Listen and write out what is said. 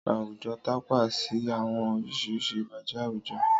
Àwùjọ tàpa sí àwọn oríṣi ìbàjẹ́ àwùjọ